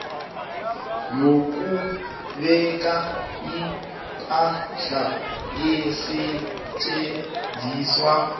yokubeka ipahla esetjenziswa